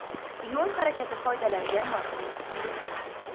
Yo‘l harakati qoidalariga amal qiling.